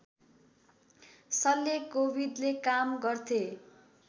शल्यकोविदले काम गर्थे